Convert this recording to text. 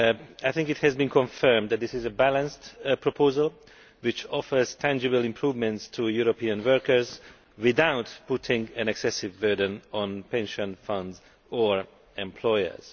I think it has been confirmed that this is a balanced proposal which offers tangible improvements to European workers, without putting an excessive burden on pension funds or employers.